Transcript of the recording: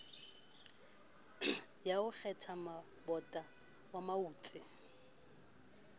ya ho kgethammabotle wa mautse